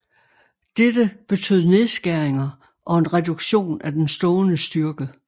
Dette betød nedskæringer og en reduktion af den stående styrke